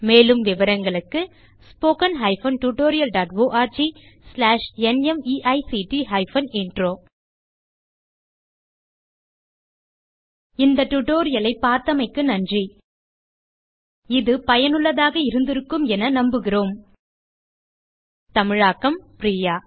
மேலும் விவரங்களுக்கு spoken hyphen tutorial dot org slash நிமைக்ட் ஹைபன் இன்ட்ரோ தமிழாக்கம் பிரியா